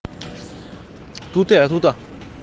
тут я тут